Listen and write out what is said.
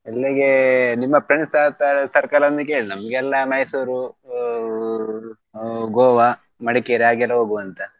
ಎಲ್ಲಿಗೆ ನಿಮ್ಮ friends circle ಅನ್ನು ಕೇಳಿ ನಮ್ಗೆಲ್ಲಾ Mysore ಆ Goa, Madikeri ಹಾಗೆಲ್ಲ ಹೋಗುವಂತ.